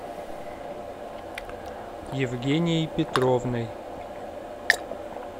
евгенией петровной